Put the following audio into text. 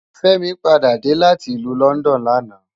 Femi pàdá dé láti ilù London làná